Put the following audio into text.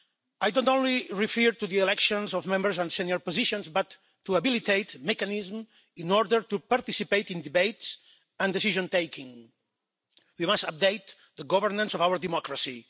I don't refer only to the elections of Members and senior positions, but to habilitate a mechanism in order to participate in debates and decision-taking. We must update the governance of our democracy.